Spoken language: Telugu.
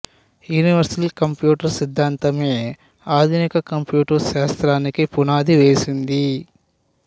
యూనివర్సల్ కంప్యూటర్ సిద్ధాంతమే ఆధునిక కంప్యూటర్ శాస్త్రానికి పునాది వేసింది